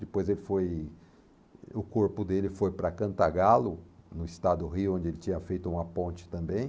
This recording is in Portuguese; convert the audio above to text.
Depois o corpo dele foi para Cantagalo, no estado do Rio, onde ele tinha feito uma ponte também.